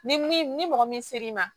Ni min ni mɔgɔ min ser'i ma